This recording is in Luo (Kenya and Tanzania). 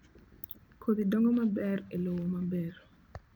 Kodhi dongo maber e lowo maber